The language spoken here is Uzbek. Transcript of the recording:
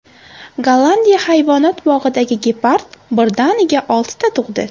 Gollandiya hayvonot bog‘idagi gepard birdaniga oltita tug‘di.